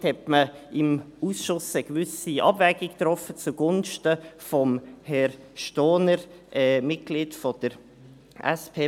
Damit hat man im Ausschuss eine gewisse Abwägung getroffen zugunsten von Herrn Stohner, Mitglied der SP.